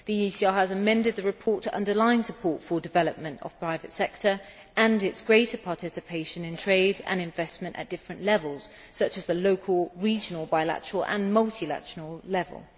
The ECR has amended the report to underline support for development of the private sector and its greater participation in trade and investment at different levels such as the local, regional, bilateral and multilateral levels.